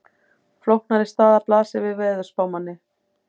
Flóknari staða blasir við veðurspámanni.